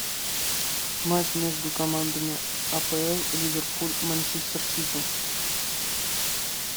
матч между командами апл ливерпуль манчестер сити